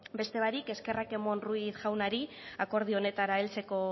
beste barik eskerrak emon ruiz jaunari akordio honetara heltzeko